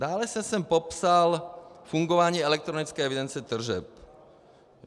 Dále jsem zde popsal fungování elektronické evidence tržeb.